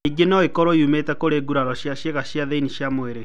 Ningĩ no ĩkorũo ĩumĩte kũrĩ ngũraro ya ciĩga cia thĩinĩ wa mwĩrĩ.